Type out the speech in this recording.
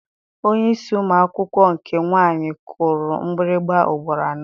Onyeisi ụmụ akwụkwọ nke nwaanyị kụrụ mgbịrịgba ugboro anọ.